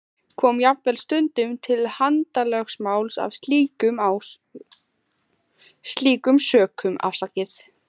Kom jafnvel stundum til handalögmáls af slíkum sökum.